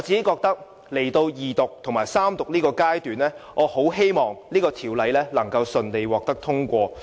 來到二讀和三讀階段，我很希望《條例草案》順利獲得通過。